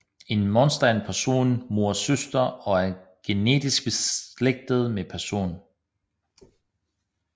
En moster er en persons mors søster og er genetisk beslægtet med personen